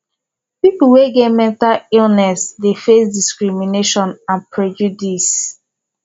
people wey get mental illness dey face discrimination and prejudice